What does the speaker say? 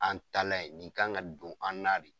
An talan ye, nin kan ŋa don an na de.